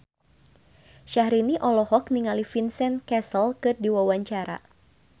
Syahrini olohok ningali Vincent Cassel keur diwawancara